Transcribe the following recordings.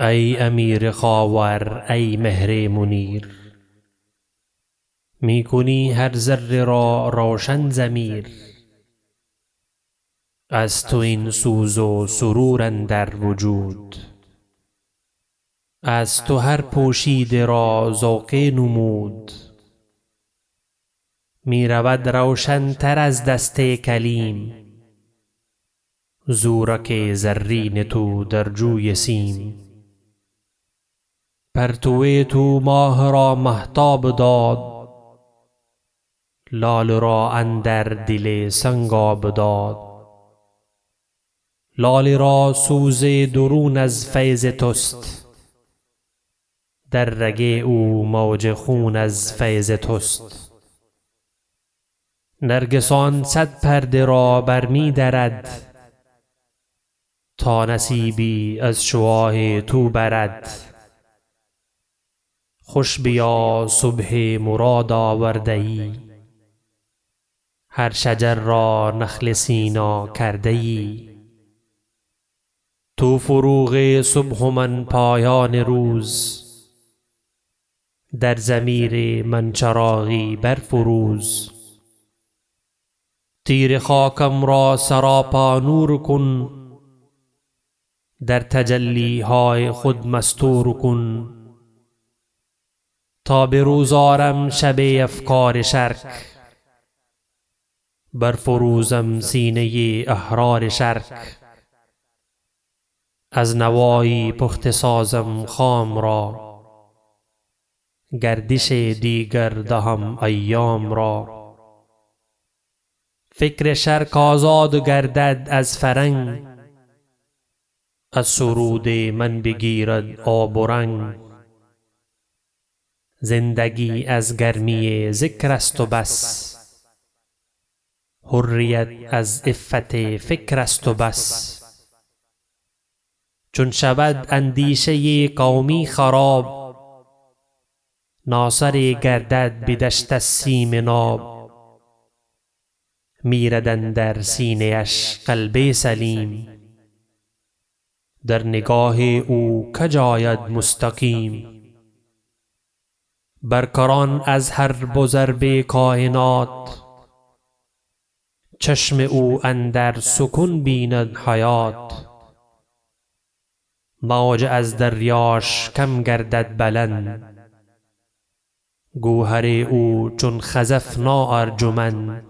ای امیر خاور ای مهر منیر می کنی هر ذره را روشن ضمیر از تو این سوز و سرور اندر وجود از تو هر پوشیده را ذوق نمود می رود روشنتر از دست کلیم زورق زرین تو در جوی سیم پرتو تو ماه را مهتاب داد لعل را اندر دل سنگ آب داد لاله را سوز درون از فیض تست در رگ او موج خون از فیض تست نرگسان صد پرده را بر می درد تا نصیبی از شعاع تو برد خوش بیا صبح مراد آورده یی هر شجر را نخل سینا کرده یی تو فروغ صبح و من پایان روز در ضمیر من چراغی بر فروز تیره خاکم را سراپا نور کن در تجلی های خود مستور کن تا بروز آرم شب افکار شرق بر فروزم سینه احرار شرق از نوایی پخته سازم خام را گردش دیگر دهم ایام را فکر شرق آزاد گردد از فرنگ از سرود من بگیرد آب و رنگ زندگی از گرمی ذکر است و بس حریت از عفت فکر است و بس چون شود اندیشه قومی خراب ناسره گردد بدستش سیم ناب میرد اندر سینه اش قلب سلیم در نگاه او کج آید مستقیم بر کران از حرب و ضرب کاینات چشم او اندر سکون بیند حیات موج از دریاش کم گردد بلند گوهر او چون خزف نا ارجمند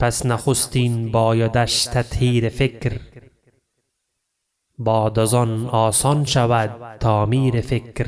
پس نخستین بایدش تطهیر فکر بعد از آن آسان شود تعمیر فکر